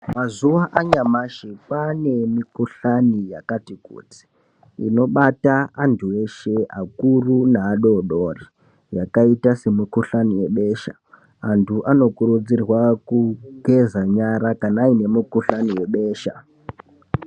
Mazuva anyamashi kwaane mikuhlani yakati kuti inobata antu eshe akuru neadodori yakaita semikuhlani yebesha. Antu anokurudzirwa kugeza nyara kana aine mukuhlani webesha.